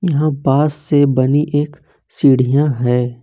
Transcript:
यहां बांस से बनी एक सीढ़ियां है।